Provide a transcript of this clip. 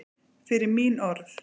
Fyrir mín orð.